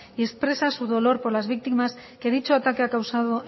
y expresa su dolor por las víctimas que dicho ataque ha causado